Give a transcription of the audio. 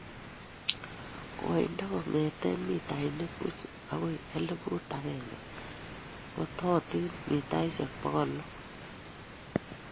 koindap kongeten mitainik puch agoi eliphuut agenge ,ng'atootin mitaisyek pokol lo